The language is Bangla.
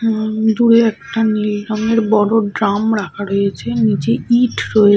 উম দূরে একটা নীল রঙের বড় ড্রাম রাখা রয়েছে। নিচে ইট রয়ে--